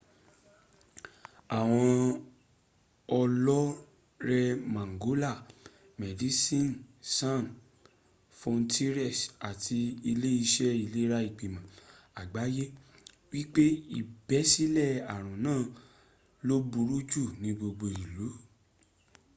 àwọn ọlọ́re mangola medicien sans frontieres àti ile iṣe ìlera ìgbìmọ̀ àgbáyé wípé ìbẹ́sílẹ̀ àrùn naa lo buru jù ní gbogbo ìlú